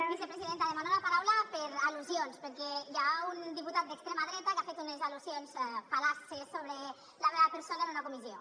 vicepresidenta demano la paraula per al·lusions perquè hi ha un diputat d’extrema dreta que ha fet unes al·lusions fal·laces sobre la meva persona en una comissió